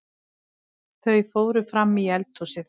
Þau fóru frammí eldhúsið.